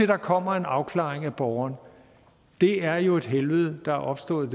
der kommer en afklaring af borgeren er jo et helvede der er opstået